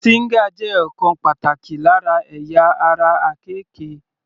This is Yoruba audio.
Stinger jẹ́ ọ̀kan pàtàkì lára ẹ̀yà ara àkekè.